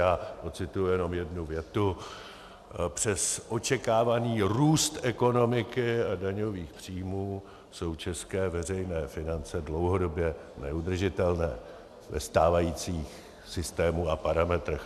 Já ocituji jenom jednu větu: Přes očekávaný růst ekonomiky a daňových příjmů jsou české veřejné finance dlouhodobě neudržitelné ve stávajícím systému a parametrech.